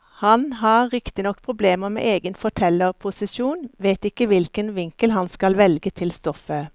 Han har riktignok problemer med egen fortellerposisjon, vet ikke riktig hvilken vinkel han skal velge til stoffet.